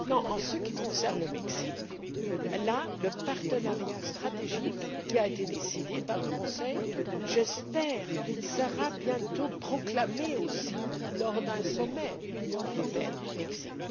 En ce qui concerne le Mexique, le partenariat stratégique qui a été décidé par le Conseil sera, je l'espère, bientôt proclamé lors d'un sommet Union européenne Mexique.